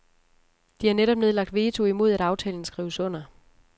De har netop nedlagt veto imod at aftalen skrives under.